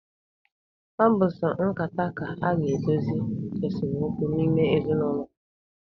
Ọ bụ sọ nkata ka a ga-eji dozie esomokwu n'ime ezinụlọ.